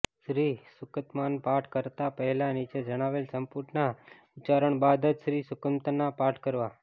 શ્રી સૂક્તમ્ના પાઠ કરતાં પહેલાં નીચે જણાવેલા સંપુટના ઉચ્ચારણ બાદ જ શ્રી સૂક્તમ્ના પાઠ કરવા